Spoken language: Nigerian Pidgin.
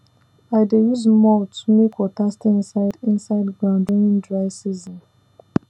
i dey use mulch make water stay inside inside ground during dry season